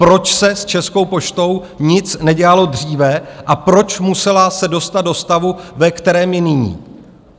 Proč se s Českou poštou nic nedělalo dříve a proč musela se dostat do stavu, ve kterém je nyní.